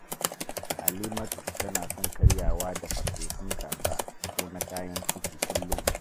Halimatu tana son karyawa da farfesun kaza ko na kayan ciki kullum